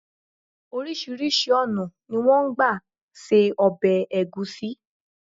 Orísírìsí ònà ni wón n gba se obè ègúsí